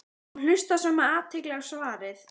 og hlusta svo með athygli á svarið.